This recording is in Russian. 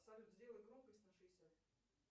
салют сделай громкость на шестьдесят